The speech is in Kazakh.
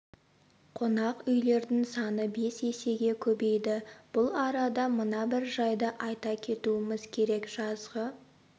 қонақ үйлердің саны бес есеге көбейді бұл арада мына бір жайды айта кетуіміз керек жазғы